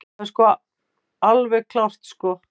Það er alveg klárt sko.